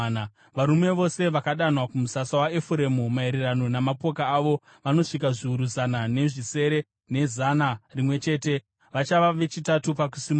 Varume vose vakadanwa kumusasa waEfuremu, maererano namapoka avo, vanosvika zviuru zana nezvisere, nezana rimwe chete. Vachava vechitatu pakusimuka.